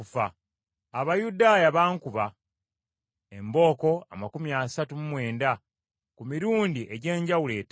Abayudaaya bankuba embooko amakumi asatu mu mwenda ku mirundi egy’enjawulo etaano.